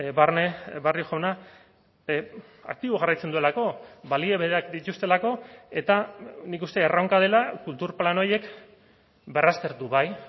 barne barrio jauna aktibo jarraitzen duelako balio berak dituztelako eta nik uste erronka dela kultur plan horiek berraztertu bai